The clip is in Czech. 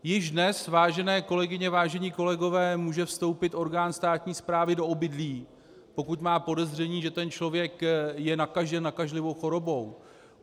Již dnes, vážené kolegyně, vážení kolegové, může vstoupit orgán státní správy do obydlí, pokud má podezření, že ten člověk je nakažen nakažlivou chorobou.